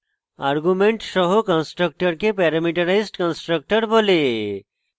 arguments সহ কন্সট্রাকটরকে parameterized constructor বলে